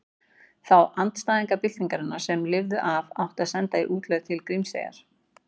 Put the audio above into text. Þá andstæðinga byltingarinnar sem lifðu af átti að senda í útlegð til Grímseyjar.